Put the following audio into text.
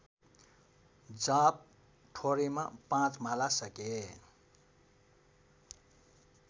जाप थोरैमा ५ माला सके